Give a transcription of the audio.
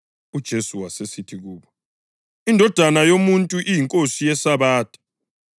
UJesu wasesithi kubo, “INdodana yoMuntu iyiNkosi yeSabatha.”